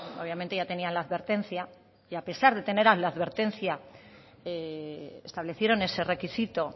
obviamente ya tenían la advertencia y a pesar de tener la advertencia establecieron ese requisito